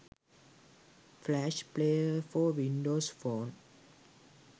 flash player for windows phone